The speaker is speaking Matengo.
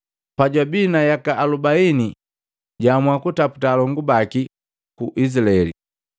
“Pajwabii na yaka alubaini jwaamua kataputa alongu baki ku Izilaeli.